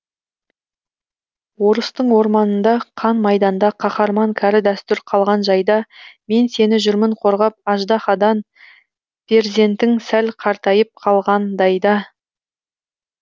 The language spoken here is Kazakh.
орыстың орманында қан майданда қаһарман кәрі дәстүр қалған жайда мен сені жүрмін қорғап аждаһадан перзентің сәл қартайып қалғандай да